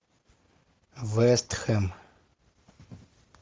вестхэм